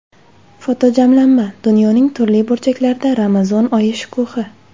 Fotojamlanma: Dunyoning turli burchaklarida Ramazon oyi shukuhi.